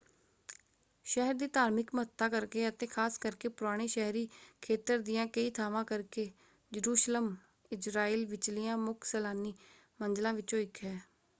ਸ਼ਹਿਰ ਦੀ ਧਾਰਮਿਕ ਮਹਤੱਤਾ ਕਰਕੇ ਅਤੇ ਖ਼ਾਸ ਕਰਕੇ ਪੁਰਾਣੇ ਸ਼ਹਿਰੀ ਖੇਤਰ ਦੀਆਂ ਕਈ ਥਾਂਵਾਂ ਕਰਕੇ ਯਰੂਸ਼ਲਮ ਇਜ਼ਰਾਈਲ ਵਿਚਲੀਆਂ ਮੁੱਖ ਸੈਲਾਨੀ ਮੰਜ਼ਿਲਾਂ ਵਿੱਚੋਂ ਇੱਕ ਹੈ।